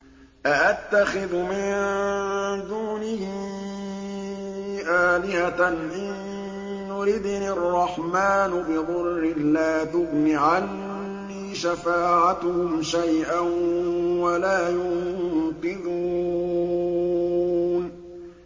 أَأَتَّخِذُ مِن دُونِهِ آلِهَةً إِن يُرِدْنِ الرَّحْمَٰنُ بِضُرٍّ لَّا تُغْنِ عَنِّي شَفَاعَتُهُمْ شَيْئًا وَلَا يُنقِذُونِ